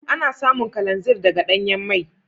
Ana samun kalanzir daga danyan mai.